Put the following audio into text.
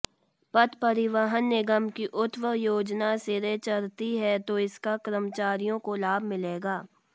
पथ परिवहन निगम की उक्त योजना सिरे चढ़ती है तो इसका कर्मचारियों को लाभ मिलेगा